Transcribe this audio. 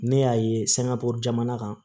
Ne y'a ye sangako jamana kan